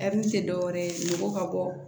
tɛ dɔwɛrɛ ye mɔgɔ ka bɔ